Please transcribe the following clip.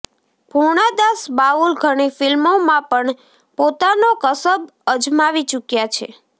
પૂર્ણાદાસ બાઉલ ઘણી ફિલ્મોમાં પણ પોતાનો કસબ અજમાવી ચૂક્યા છે